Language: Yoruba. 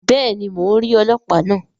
Béèni, Mó n ríi ọlọpa náà